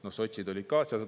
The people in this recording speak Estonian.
Noh, sotsid olid ka seal.